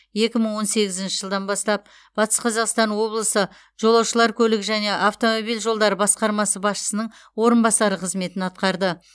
екі мың он сегізінші жылдан бастап батыс қазақстан облысы жолаушылар көлігі және автомобиль жолдары басқармасы басшысының орынбасары қызметін атқарды